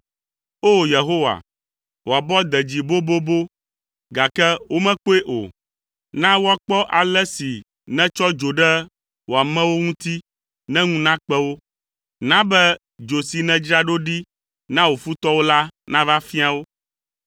O! Yehowa, wò abɔ de dzi bobobo, gake womekpɔe o. Na woakpɔ ale si nètsɔ dzo ɖe wò amewo ŋuti ne ŋu nakpe wo; na be dzo si nèdzra ɖo ɖi na wò futɔwo la nava fia wo.